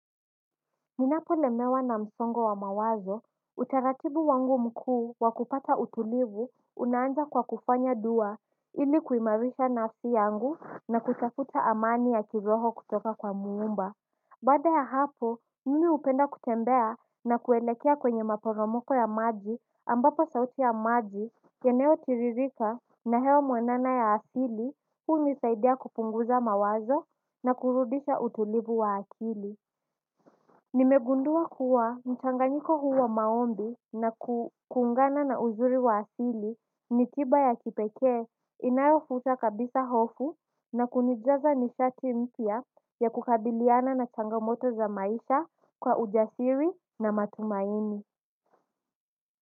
Ninapolemewa na msongo wa mawazo utaratibu wangu mkuu wakupata utulivu unaanza kwa kufanya dua ili kuimarisha na nafsi yangu na kutafuta amani ya kiroho kutoka kwa muumba. Baada ya hapo mimi upenda kutembea na kuelekea kwenye maporomoko ya maji ambapo sauti ya maji yanayotiririka na eneo mwenana ya asili unisaidia kupunguza mawazo na kurudisha utulivu wa akili. Nimegundua kuwa mchanganyiko huu maombi na kuungana na uzuri wa asili ni tiba ya kipeke inayofuta kabisa hofu na kunijaza nishati mpya ya kukabiliana na changamoto za maisha kwa ujasiri na matumaini.